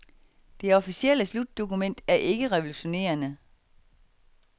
Det officielle slutdokument er ikke revolutionerende.